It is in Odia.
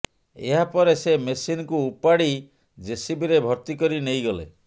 ଏହାପରେ ସେ ମେସିନକୁ ଉପାଡି ଜେସିବିରେ ଭର୍ତ୍ତି କରି ନେଇଗଲେ